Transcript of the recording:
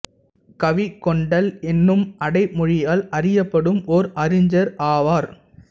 கவிக்கொண்டல் என்னும் அடை மொழியால் அறியப்படும் ஓர் அறிஞர் ஆவார்